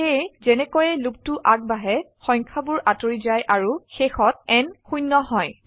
সেয়ে যেনেকৈয়ে লোপটো আগবাঢ়ে সংখয়াবোৰ আতৰি যায় আৰু শেষত n 0 হয়